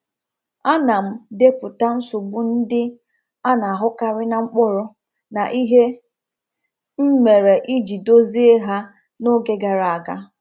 A na m depụta nsogbu ndị a na-ahụkarị na mkpụrụ, na ihe m mere iji dozie ha n’oge gara aga.